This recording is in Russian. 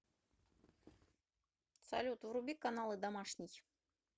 салют вруби каналы домашний